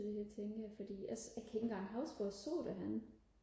til det her tænker jeg for jeg kan ikke engang huske hvor jeg så det henne